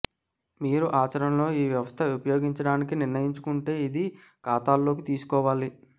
మీరు ఆచరణలో ఈ వ్యవస్థ ఉపయోగించడానికి నిర్ణయించుకుంటే ఇది ఖాతాలోకి తీసుకోవాలి